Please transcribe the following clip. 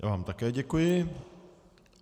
Já vám také děkuji.